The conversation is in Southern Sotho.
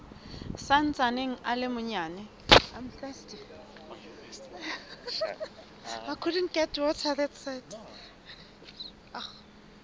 sa ntsaneng a le manyane